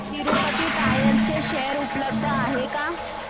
Tirupati tyres चे share उपलब्ध आहेत का